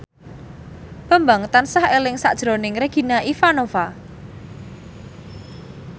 Bambang tansah eling sakjroning Regina Ivanova